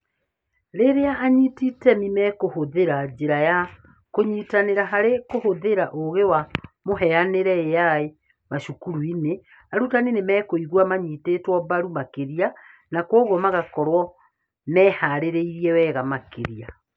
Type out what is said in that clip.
Rĩrĩa anyiti itemi mekũhũthĩra njĩra ya kũnyitanĩra harĩ kũhũthĩra ũũgĩ wa mũhianĩre(AI) macukuru-inĩ, arutani nĩ mekũigua manyitĩtwo mbaru makĩria, na kwoguo magakorũo mehaarĩirie wega makĩria.